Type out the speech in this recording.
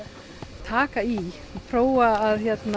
taka í prófa að